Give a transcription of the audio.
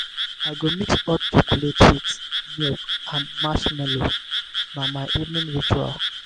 i go mix hot chocolate with milk and marshmallow na my evening ritual.